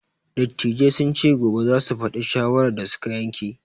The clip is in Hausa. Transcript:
Dattijai sun ce gobe za su faɗi shawarar da su ka yanke.